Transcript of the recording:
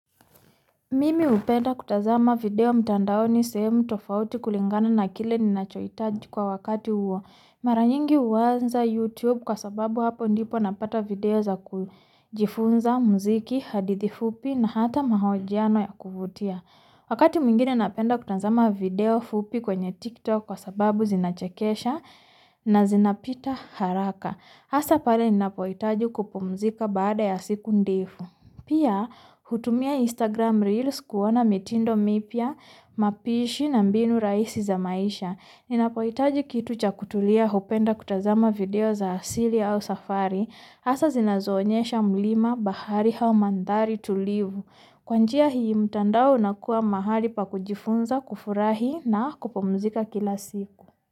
Mimi hupenda kutazama video mtandaoni sehemu tofauti kulingana na kile ninachoitaji kwa wakati huo, maranyingi huanza YouTube kwa sababu hapo ndipo napata video za kujifunza muziki, hadithi fupi na hata mahojiano ya kuvutia. Wakati mwingine napenda kutazama video fupi kwenye tiktok kwa sababu zinachakesha na zinapita haraka. Ha Asa pale ninapo itaji kupumzika baada ya siku ndefu. Pia hutumia Instagram reels kuona mitindo mipya, mapishi na mbinu raisi za maisha. Ninapoitaji kitu cha kutulia hupenda kutazama video za asili au safari. Hak Asa zinazo onyesha mulima bahari hau mandhari tulivu.hh Kwanjia hii mtandao unakua mahali pa kujifunza kufurahi na kupumzika kila siku.